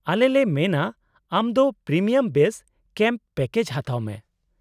-ᱟᱞᱮᱞᱮ ᱢᱮᱱᱟ ᱟᱢ ᱫᱚ ᱯᱨᱤᱢᱤᱭᱟᱢ ᱵᱮᱥ ᱠᱮᱢᱯ ᱯᱮᱠᱮᱡ ᱦᱟᱛᱟᱣ ᱢᱮ ᱾